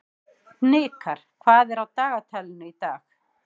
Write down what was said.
Hnikar, hvað er á dagatalinu í dag?